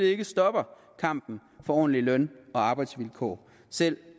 ikke stopper kampen for ordentlige løn og arbejdsvilkår selv